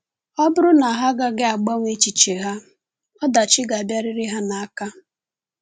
Ọ bụrụ na ha agaghị agbanwe echiche ha, ọdachi ga-abịarị ha n’aka.